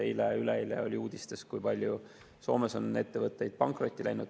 Eile-üleeile oli uudistes, kui palju on Soomes ettevõtteid pankrotti läinud.